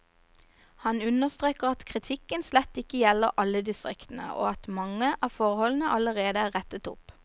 Han understreker at kritikken slett ikke gjelder alle distriktene, og at mange av forholdene allerede er rettet opp.